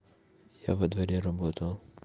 я во дворе работал